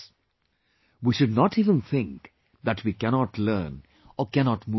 " We should not even think that we cannot learn, or cannot move forward